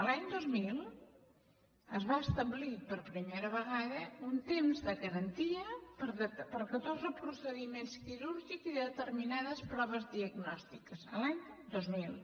l’any dos mil es va establir per primera vegada un temps de garantia per a catorze procediments quirúrgics i determinades proves diagnòstiques l’any dos mil